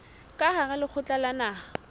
ka hara lekgotla la naha